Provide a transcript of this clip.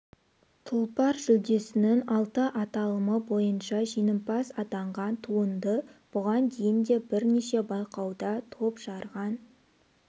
тұлпар жүлдесінің алты аталымы бойынша жеңімпаз атанған туынды бұған дейін де бірнеше байқауда топ жарған